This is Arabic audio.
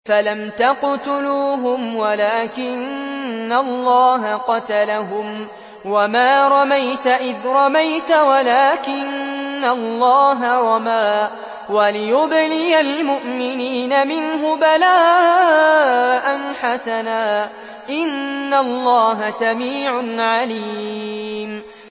فَلَمْ تَقْتُلُوهُمْ وَلَٰكِنَّ اللَّهَ قَتَلَهُمْ ۚ وَمَا رَمَيْتَ إِذْ رَمَيْتَ وَلَٰكِنَّ اللَّهَ رَمَىٰ ۚ وَلِيُبْلِيَ الْمُؤْمِنِينَ مِنْهُ بَلَاءً حَسَنًا ۚ إِنَّ اللَّهَ سَمِيعٌ عَلِيمٌ